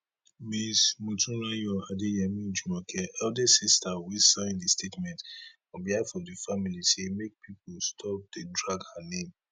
ms motunrayo adeyemi jumoke eldest sister wey sign di statement on behalf of di family say make pipo stop dey drag her name